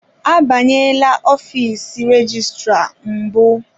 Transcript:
Abanyela ọfiisi rejistra mbụ.